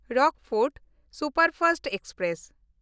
Rockfort superfast express